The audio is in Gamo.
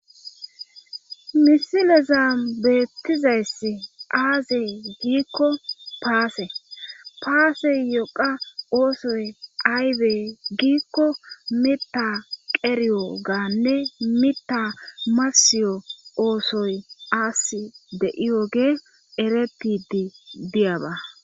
misile zambeettizayss aaze giikko paase paase yoqa oosoy aybe giikko mita qeriyo-gaanne mita masiyo oosoy aas de7iyoge erepidi diyaba